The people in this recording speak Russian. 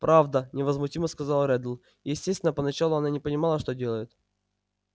правда невозмутимо сказал реддл естественно поначалу она не понимала что делает